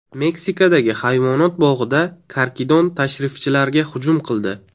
Meksikadagi hayvonot bog‘ida karkidon tashrifchilarga hujum qildi .